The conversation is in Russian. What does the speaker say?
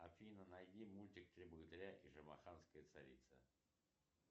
афина найди мультик три богатыря и шамаханская царица